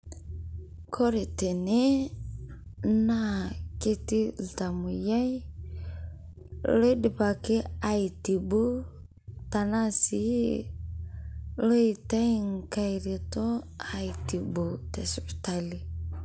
Kore tene naa ketii ltamoyaii loidipaaki aitibuu tana sii loetai nkaai retoo aitibuu te suputali.